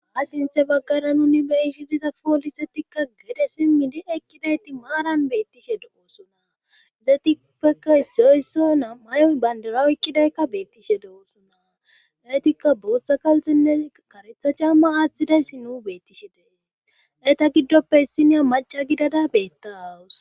Ha sinthe baggara nuni beyishidiza poolisetikka gede simmidi ekkidayti maaran beettishe do7oosona izetipeka isiyoysso naa may7oy bandara ekkidaykka beettishe do7oosona naytikka booththa kalxenne karetha camma aaththidayssi nu beettishe dee eyta giddoppe issiniya maca gidada beetta awus